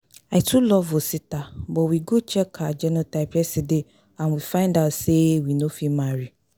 I too love Osita but we go check our genotype yesterday and we find out say we no fit marry